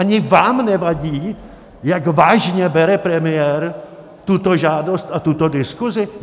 Ani vám nevadí, jak vážně bere premiér tuto žádost a tuto diskuzi?